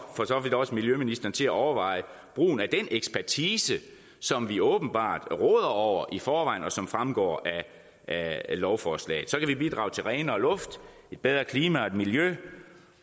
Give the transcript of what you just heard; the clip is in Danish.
for så vidt også miljøministeren til at overveje brugen af den ekspertise som vi åbenbart råder over i forvejen og som fremgår af lovforslaget så kan vi bidrage til renere luft bedre klima og miljø